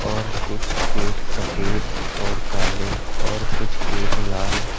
और कुछ केक सफेद और काले और कुछ केक लाल--